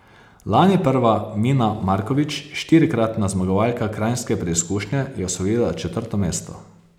Lani prva Mina Markovič, štirikratna zmagovalka kranjske preizkušnje, je osvojila četrto mesto.